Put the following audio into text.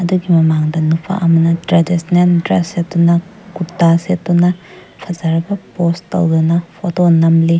ꯃꯃꯥꯡꯗ ꯅꯨꯄꯥ ꯑꯃꯅ ꯇ꯭ꯔꯦꯗꯤꯁꯅꯦꯜ ꯗ꯭ꯔꯦꯁ ꯁꯦꯠꯇꯨꯅ ꯀꯨꯔꯇ ꯁꯦꯠꯇꯨꯅ ꯐꯖꯔꯕ ꯄꯣꯠꯁ ꯇꯧꯗꯨꯅ ꯐꯣꯇꯣ ꯅꯝꯂꯤ꯫